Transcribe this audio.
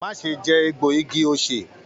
Má ṣe jẹ egbo igi osè.